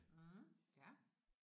Mh ja